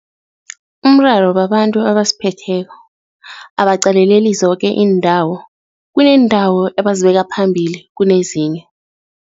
Umraro babantu abasiphetheko, abaqaleleli zoke iindawo, kuneendawo ebazibeka phambili kunezinye.